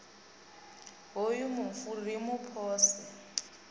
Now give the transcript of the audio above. hoyu mufu ri mu pose